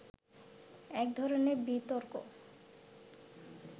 এক ধরনের বিতর্ক